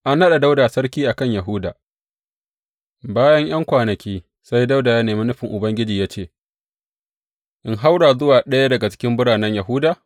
An naɗa Dawuda sarki a kan Yahuda Bayan ’yan kwanaki, sai Dawuda ya nemi nufin Ubangiji ya ce, In haura zuwa ɗaya daga cikin biranen Yahuda?